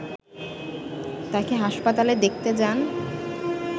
তাঁকে হাসপাতালে দেখতে যান